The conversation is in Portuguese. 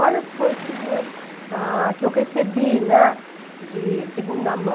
Olha as coisas que vinham, ah, que eu recebi, né, de segunda mão.